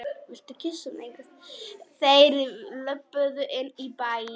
Þeir löbbuðu inn í bæinn.